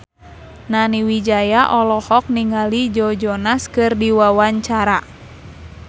Nani Wijaya olohok ningali Joe Jonas keur diwawancara